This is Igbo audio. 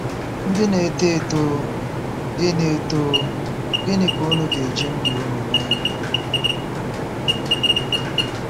Ndị Na-eto Eto — Gịnị Eto — Gịnị Ka unu ga-eji ndụ unu mee?